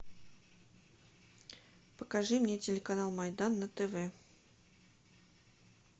покажи мне телеканал майдан на тв